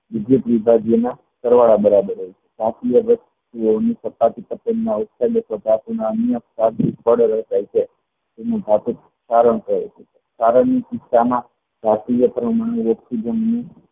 વિદ્યુત વિભાગય ના સરવાળા બરાબર હોય છે